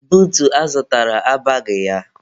Buutu a zụtara abaghị ya.